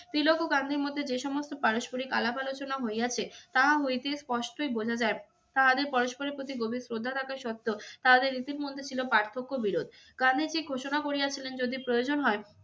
তিলক ও গান্ধীর মধ্যে যে সমস্ত পারস্পরিক আলাপ আলোচনা হইয়াছে তাহা হইতে স্পষ্টই বোঝা যায় তাহাদের পরস্পরের প্রতি গভীর শ্রদ্ধা থাকা সত্ত্বেও তাহাদের রীতির মধ্যে ছিল পার্থক্য বিরোধ। গান্ধীজী ঘোষণা করিয়াছিলেন যদি প্রয়োজন হয়